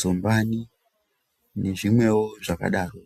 zumbani nezvimwewo zvakadaro.